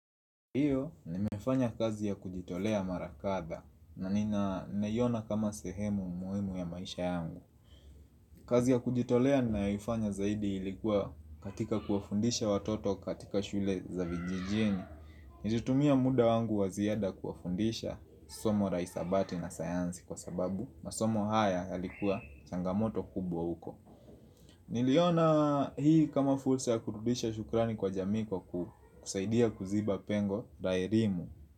Ndiyo nimefanya kazi ya kujitolea mara kadhaa na ninaiona kama sehemu muhimu ya maisha yangu. Kazi ya kujitolea nayoifanya zaidi ilikuwa katika kuwafundisha watoto katika shule za vijijini. Nilitumia muda wangu wa ziada kuwafundisha somo la hisabati na sayansi kwa sababu masomo haya yalikuwa changamoto kubwa uko. Niliona hii kama fursa ya kurudisha shukrani kwa jamii kwa kusaidia kuziba pengo la elimu.